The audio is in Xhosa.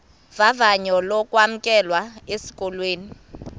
vavanyo lokwamkelwa esikolweni